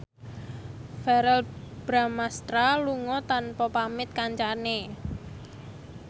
Verrell Bramastra lunga tanpa pamit kancane